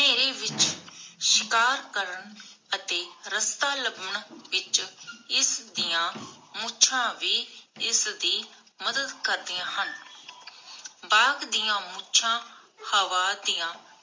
ਸ਼ਿਕਾਰ ਕਰਨ ਅਤੇ ਰਸਤਾ ਲੱਭਣ ਵਿਚ ਇਸਦੀਆਂ ਮੁਛਾਂ ਵੀ ਇਸਦੀ ਮਦਦ ਕਰਦਿਆਂ ਹਨ ਬਾਘ ਦੀਆ ਮੁਛਾਂ ਹਵਾ ਦੀਆਂ